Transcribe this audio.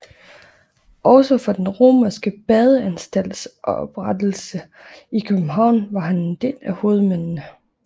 Også for den romerske badeanstalts oprettelse i København var han en af hovedmændene